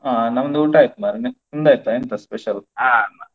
ಅಹ್ ನಮ್ದು ಊಟ ಆಯ್ತು ಮಾರೇ ಅಹ್ ನಿಮ್ದ್ ಆಯ್ತಾ ಎಂಥ special .